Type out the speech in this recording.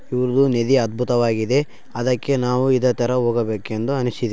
ಇದು ನದಿ ಅದ್ಭುತವಾಗಿದೆ ಅದಕ್ಕೆ ನಾವು ಇದೇ ತರ ಹೋಗಬೇಕು ಎಂದು ಅನಿಸಿದೆ.